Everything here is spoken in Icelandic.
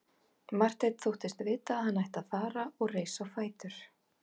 Marteinn þóttist vita að hann ætti að fara og reis á fætur.